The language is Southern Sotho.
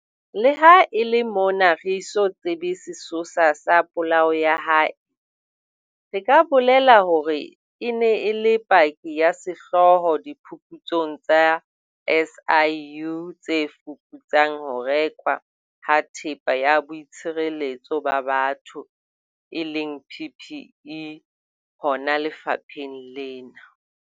Leha e le mona re eso tsebe sesosa sa polao ya hae, re ka bolela hore e ne e le paki ya sehlooho diphuputsong tsa SIU tse fuputsang ho rekwa ha Thepa ya Boitshireletso ba Batho eleng PPE hona lefapheng lena.